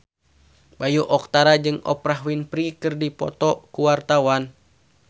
Bayu Octara jeung Oprah Winfrey keur dipoto ku wartawan